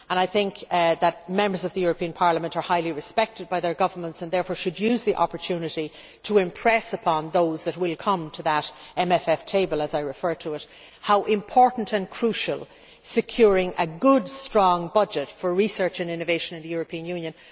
I think that Members of the European Parliament are highly respected by their governments and therefore should use the opportunity to impress upon those that come to that MFF table, as I refer to it, how important and crucial it is in helping us to remain a global player to secure a good, strong budget for research and innovation in the European Union.